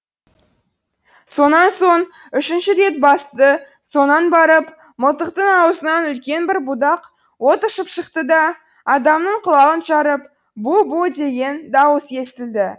сонан соң үшінші рет басты сонан барып мылтықтың аузынан үлкен бір будақ от ұшып шықты да адамның құлағын жарып бу бу деген дауыс естілді